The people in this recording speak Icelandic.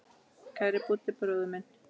Kæri Búddi bróðir minn.